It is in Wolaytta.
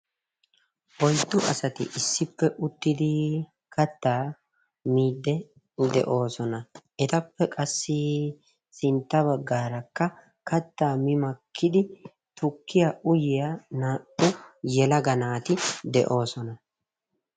Oyddu asati issippe uttidi kattaa miidde de'oosona. Etappe qassi sintta baggaarakka kattaa mi makkidi tukkiya uyiya naa"u yelaga naati de'oosona.